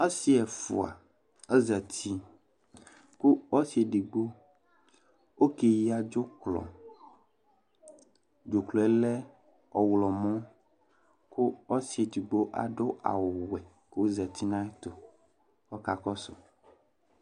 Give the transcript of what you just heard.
Asi ɛfua azati kʋ ɔsi edigbo ɔkeyǝ dzʋklɔ, dzʋklɔ yɛ lɛ ɔɣlɔmɔ, kʋ ɔsi edigbo adʋ awʋ wɛ k'ozati n'ayɛtʋ k'ɔka kɔsʋ